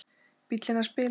Bíllinn hans bilaði.